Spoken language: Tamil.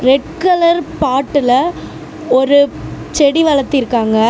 ரெட் கலர் பாட்டுல ஒரு செடி வளத்திருக்காங்க.